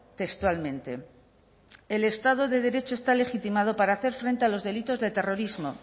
textualmente el estado de derecho está legitimado para hacer frente a los delitos de terrorismo